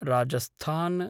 Rajasthan